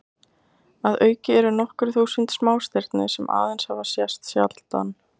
Að auki eru nokkur þúsund smástirni sem aðeins hafa sést sjaldan.